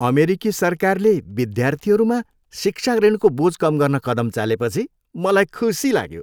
अमेरिकी सरकारले विद्यार्थीहरूमा शिक्षा ऋणको बोझ कम गर्न कदम चालेपछि मलाई खुसी लाग्यो।